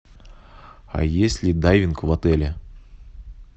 а есть ли дайвинг в отеле